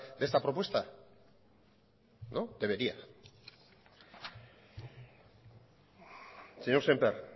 de esta propuesta no debería señor sémper